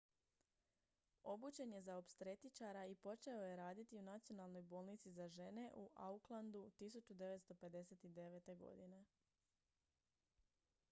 obučen je za opstretičara i počeo je raditi u nacionalnoj bolnici za žene u aucklandu 1959. godine